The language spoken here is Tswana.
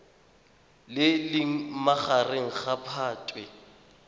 le leng magareng ga phatwe